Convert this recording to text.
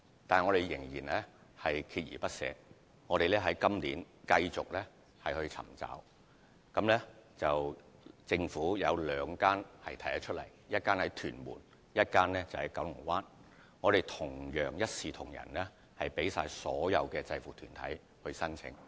不過，我們依然鍥而不捨，在今年繼續尋找，並找到兩個空置用地，一個在屯門，另一個在九龍灣，並一視同仁地供所有制服團體申請。